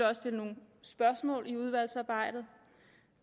også stille nogle spørgsmål i udvalgsarbejdet